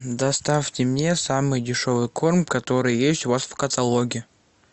доставьте мне самый дешевый корм который есть у вас в каталоге